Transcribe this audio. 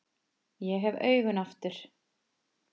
Ég hef augun aftur.